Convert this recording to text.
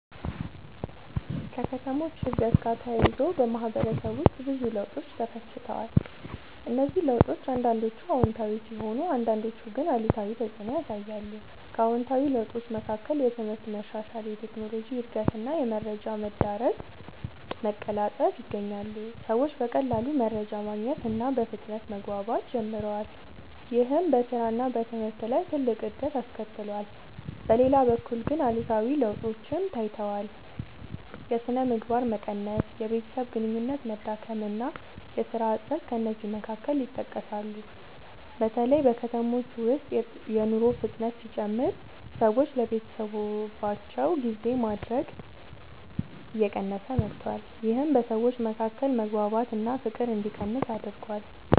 ከከተሞች እድገት ጋር ተያይዞ በማህበረሰብ ውስጥ ብዙ ለውጦች ተከስተዋል። እነዚህ ለውጦች አንዳንዶቹ አዎንታዊ ሲሆኑ አንዳንዶቹ ግን አሉታዊ ተፅዕኖ ያሳያሉ። ከአዎንታዊ ለውጦች መካከል የትምህርት መሻሻል፣ የቴክኖሎጂ እድገት እና የመረጃ መዳረሻ መቀላጠፍ ይገኛሉ። ሰዎች በቀላሉ መረጃ ማግኘት እና በፍጥነት መግባባት ጀምረዋል። ይህም በስራ እና በትምህርት ላይ ትልቅ እድገት አስከትሏል። በሌላ በኩል ግን አሉታዊ ለውጦችም ታይተዋል። የሥነ ምግባር መቀነስ፣ የቤተሰብ ግንኙነት መዳከም እና የሥራ እጥረት ከእነዚህ መካከል ይጠቀሳሉ። በተለይ በከተሞች ውስጥ የኑሮ ፍጥነት ሲጨምር ሰዎች ለቤተሰባቸው ጊዜ ማድረግ እየቀነሰ መጥቷል። ይህም በሰዎች መካከል መግባባት እና ፍቅር እንዲቀንስ አድርጓል።